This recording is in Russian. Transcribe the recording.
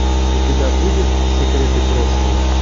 у тебя будет секреты прошлого